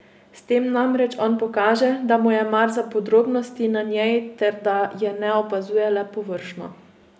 S tem namreč on pokaže, da mu je mar za podrobnosti na njej ter da je ne opazuje le površno.